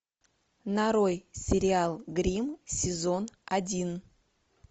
нарой сериал гримм сезон один